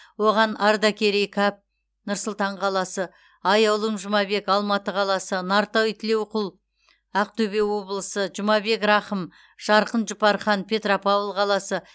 оған ардакерей қап нұр сұлтан қаласы аяулым жұмабек алматы қаласы нартай тілеуқұл ақтөбе облысы жұмабек рахым жарқын жұпархан петропавл қаласы